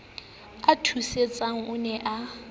o thusitseng o ne a